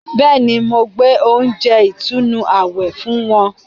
Bẹ́ẹ̀ni, mo gbé oúnjẹ ìtùnú àwẹ̀ fún wọn